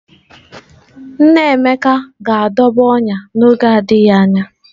Nna Emeka ga-adọba ọnyà n’oge na-adịghị anya